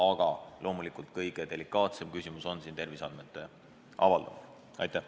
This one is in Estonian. Aga loomulikult kõige delikaatsem küsimus on siin terviseandmete avaldamine.